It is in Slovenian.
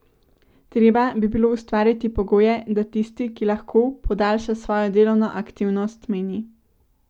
Treba bi bilo ustvarjati pogoje, da tisti, ki lahko, podaljša svojo delovno aktivnost, meni.